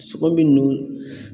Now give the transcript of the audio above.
Sogo min